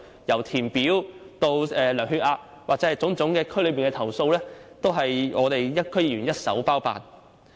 由填表至量血壓，甚至對區內的種種投訴，均由我們區議員一手包辦。